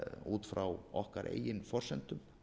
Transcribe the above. út frá okkar eigin forsendum